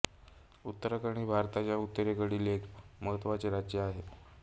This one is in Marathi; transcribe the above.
उत्तराखंड हे भारताच्या उत्तरेकडील एक महत्त्वाचे राज्य आहे